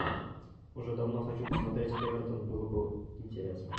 уже давно хочу посмотреть эвертон очень было бы интересно